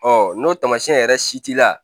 Ɔ n'o taamasiyɛn yɛrɛ si t'i la